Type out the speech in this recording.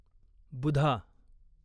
बुधा